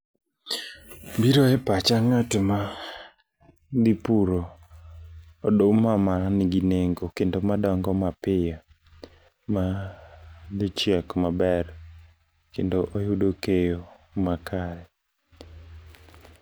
Biro e pacha ng'at ma dhi puro oduma manigi nengo kendo madongo mapiyo ma dhi chiek maber kendo oyudo keyo makare.